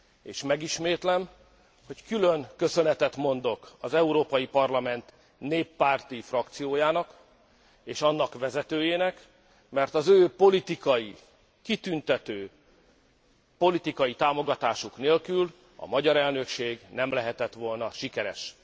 és megismétlem, hogy külön köszönetet mondok az Európai Parlament néppárti frakciójának, és annak vezetőjének, mert az ő politikai, kitüntető politikai támogatásuk nélkül a magyar elnökség nem lehetett volna sikeres.